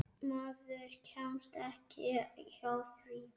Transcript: Maður kemst ekki hjá því.